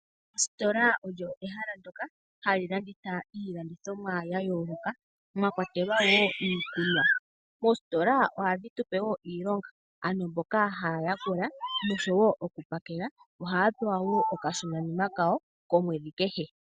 Ositola olyo ehala ndyoka hali landitha iilandithomwa ya yooloka mwa kwatelwa o iikunwa. Moositola ohadhi tupe iilonga, ano mboka haya yalula noshowo oku pakela ohaya pewa okashonanima kawo komwedhi kehe.